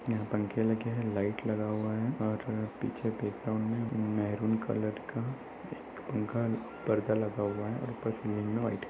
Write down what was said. यहाँ पंखे लगे हैं। लाईट लगा हुआ है और पीछे बैकग्राउंड में मैरून कलर का एक पंखा परदा लगा हुआ है। ऊपर सीलिंग व्हाइट --